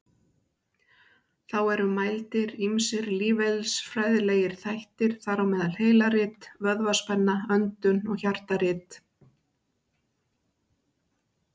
Þá eru mældir ýmsir lífeðlisfræðilegir þættir, þar á meðal heilarit, vöðvaspenna, öndun og hjartarit.